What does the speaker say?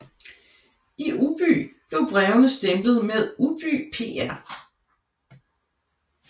I Ubby blev brevene stemplet med Ubby pr